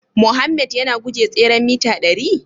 Mohammed yana guje tseren mita dari?